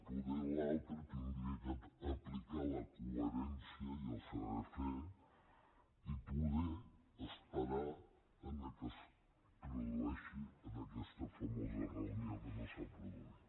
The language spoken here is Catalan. poder l’altra hauria d’aplicar la coherència i el saber fer i poder esperar el que es produeixi en aquesta famosa reunió que no s’ha produït